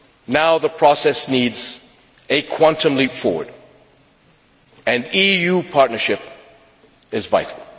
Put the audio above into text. Now the process needs a quantum leap forward and EU partnership is vital.